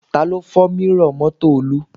Taló fọ́ mírọ̀ mọ́tò Olú?